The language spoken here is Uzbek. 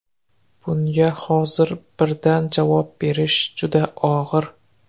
Bunga hozir birdan javob berish juda og‘ir.